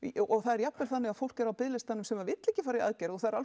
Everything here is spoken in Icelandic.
og það er jafnvel þannig að fólk á biðlistanum sem vill ekki fara í aðgerð og það eru